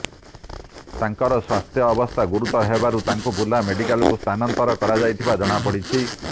ତାଙ୍କର ସ୍ବାସ୍ଥ୍ୟବସ୍ଥା ଗୁରୁତର ହେବାରୁ ତାଙ୍କୁ ବୁର୍ଲା ମେଡିକାଲକୁ ସ୍ଥାନାନ୍ତର କରାଯାଇଥିବା ଜଣାପଡିଛି